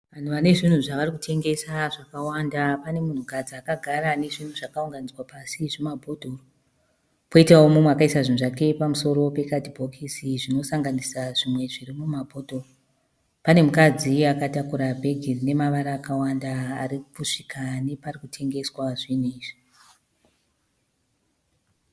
Vanhu vane zvinhu zvavari kutengesa zvakawanda. Pane munhukadzi akagara ane zvinhu zvakaunganidzwa pasi zvimabhodhoro. Poitawo umwe akaisa zvinhu zvake pamusoro pekadhibokisi zvinosanganisa zvimwe zviri mumabhodhoro. Pane mukadzi akatakura bhegi rine mavara akawanda ari kusvika nepari kutengeswa zvinhu izvi.